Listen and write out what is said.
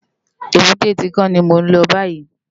Ébùté Tinkán ni mó n lò bàyí